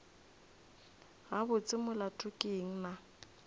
gabotse molato ke eng na